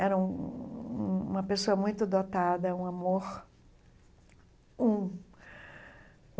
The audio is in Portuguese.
Era hum uma pessoa muito dotada, um amor um.